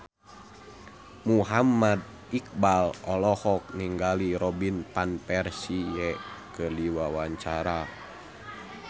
Muhammad Iqbal olohok ningali Robin Van Persie keur diwawancara